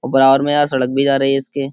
औ बराबर में यार सड़क भी जा रही है इसके।